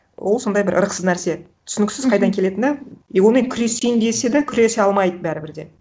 ол сондай бір ырықсыз нәрсе түсініксіз қайдан келетіні и онымен күресейін десе да күресе алмайды бәрібір де